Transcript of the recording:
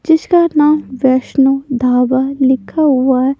जिशका नाम वैष्णव ढाबा लिखा हुआ है।